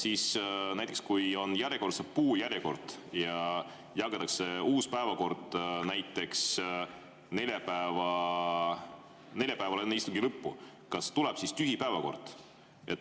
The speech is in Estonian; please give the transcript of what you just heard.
Kas näiteks siis, kui on järjekordse puu kord ja jagatakse laiali uus päevakord, näiteks neljapäeval enne istungi lõppu, kas siis tuleb tühi päevakord?